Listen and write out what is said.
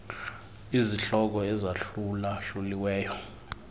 izihloko ezahlula hluliweyo